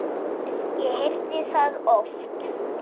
Ég heyrði það oft.